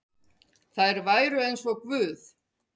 Þær væru eins og guð.